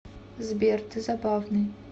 сбер ты забавный